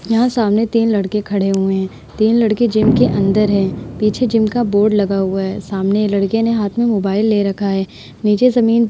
यहाँ सामने तीन लड़के खड़े हुए हैं। तीन लड़के जिम के अंदर हैं। पीछे जिम का बोर्ड लगा हुआ है। सामने लड़के ने हाथ में मोबाइल ले रखा है। नीचे जमीन --